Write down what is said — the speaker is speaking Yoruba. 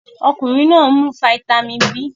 Ọkunrin naa mu fáítámínì B